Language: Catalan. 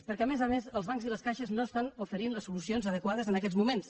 perquè a més a més els bancs i les caixes no ofereixen les solucions adequades en aquests moments